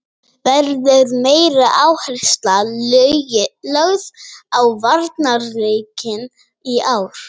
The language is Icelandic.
Verður meiri áhersla lögð á varnarleikinn í ár?